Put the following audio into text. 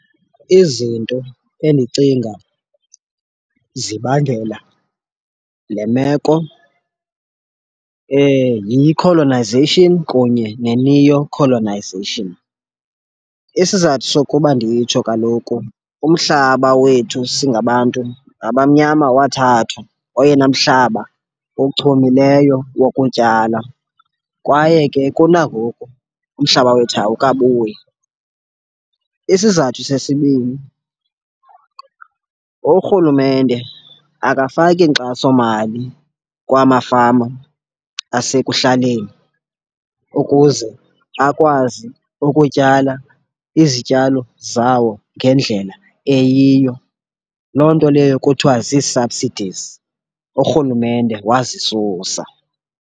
Izinto endicinga zibangela le meko yi-colonisation kunye ne-neocolonisation. Isizathu sokuba nditsho kaloku umhlaba wethu singabantu abamnyama wathathwa, oyena mhlaba ochumileyo wokutyala. Kwaye ke kunangoku umhlaba wethu awukabuyi. Isizathu sesibini, urhulumente akafaki nkxasomali kwamafama asekuhlaleni ukuze akwazi ukutyala izityalo zawo ngendlela eyiyo, loo nto leyo kuthiwa zii-subsidies urhulumente wazisusa.